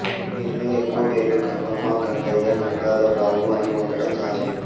వీరిలో ఎక్కువ పేర్లు గంగమ్మ గంగయ్య గంగాధరరావు అని ఉండటం సహజం